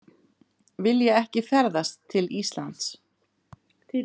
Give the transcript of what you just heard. Vilja ekki ferðast til Íslands